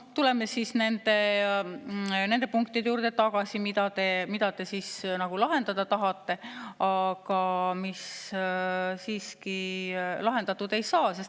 Tuleme siis tagasi nende punktide juurde, mida te lahendada tahate, aga mis siiski lahendatud ei saa.